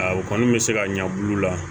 A u kɔni bɛ se ka ɲɛbilaw la